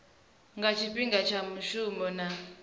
nga tshifhinga tsha mushumo na